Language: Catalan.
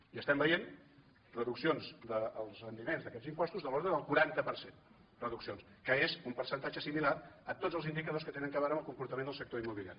i estem veient reduccions dels rendiments d’aquests impostos de l’ordre del quaranta per cent reduccions que és un percentatge similar a tots els indicadors que tenen a veure amb el comportament del sector immobiliari